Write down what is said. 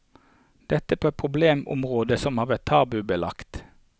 Dette på problemområder som har vært tabubelagt.